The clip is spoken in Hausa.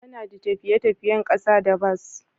ana d tafiye-tafiyen kasa da bas.